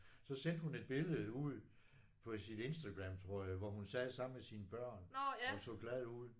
Så sendte hun et billede ud på sit Instagram tror jeg hvor hun sad sammen med sine børn og så glad ud